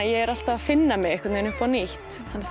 ég er alltaf að finna mig upp á nýtt